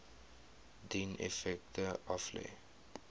dien effekte aflê